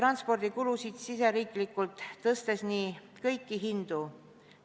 ... ja suurendab riigisiseseid transpordikulusid, tõstes nii kõiki hindu.